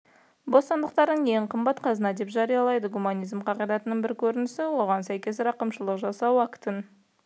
бостандықтарын ең қымбат қазына деп жариялайды гуманизм қағидатының бір көрінісі оған сәйкес рақымшылық жасау актін